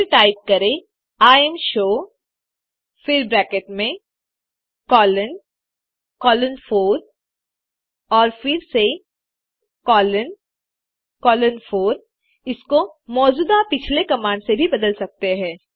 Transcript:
फिर टाइप करें इमशो फिर ब्रैकेट में कोलोन कोलोन 4 और फिर से कोलोन कोलोन 4 इसको मौजूदा पिछले कमांड से भी बदल सकते हैं